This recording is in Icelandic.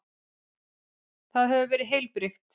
Það hefur verið heilbrigt?